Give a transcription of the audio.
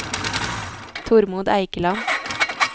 Tormod Eikeland